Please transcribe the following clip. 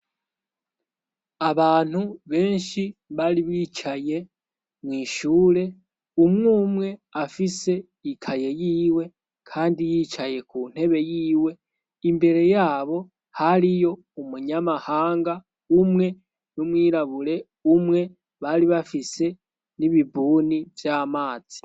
Abantu benshi bari bicaye mwishure umwe umwe afise ikaye yiwe, kandi yicaye ku ntebe yiwe imbere yabo hariyo umunyamahanga umwe n'umwirabure umwe bari bafise nibee bibuni vy'amazi.